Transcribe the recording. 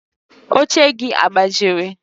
Oche gị Agbajiri?